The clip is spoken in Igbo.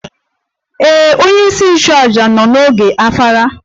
Ee, onyeisi nchụaja nọ n'oge ofala